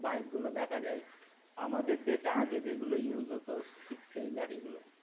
বাইকগুলো দেখা যায় আমাদের দেশে আগে যেগুলো use হতো ঠিক সেই গাড়িগুলো।